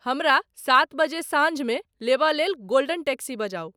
हमरा सात बजे सांझ में लेबय लेल गोल्डन टैक्सी बजाउ।